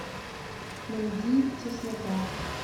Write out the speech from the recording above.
найди теснота